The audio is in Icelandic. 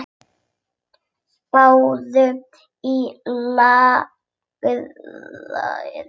Spáðu í álagið.